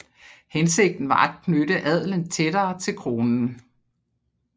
Hensigten var at knytte adelen tættere til Kronen